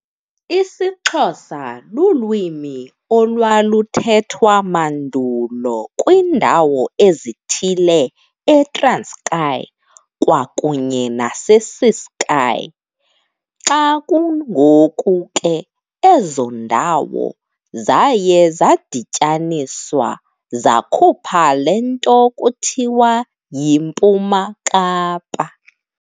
IsiXhosa lulwimi olwaluthethwa mandulo kwindawo ezithile eTranskei kwakunye nase Ciskei, xa kungoku ke ezo ndawo zaye zadityaniswa zakhupha le nto kuthiwa yiMpuma Kapa.